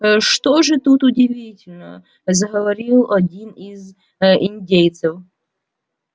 что же тут удивительного заговорил один из индейцев